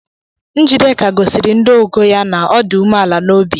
Njideka gosiri ndị ọgọ ya na ọ dị umeala n’obi